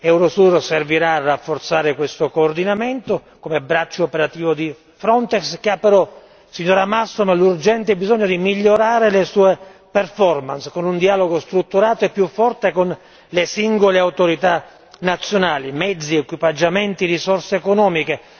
Eurosur servirà a rafforzare questo coordinamento come braccio operativo di Frontex, anche se ci sarà l'urgente bisogno di migliorare le sue performance, con un dialogo strutturato e più forte con le singole autorità nazionali, mezzi, equipaggiamenti, risorse economiche.